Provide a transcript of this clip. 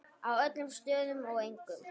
Á öllum stöðum og engum.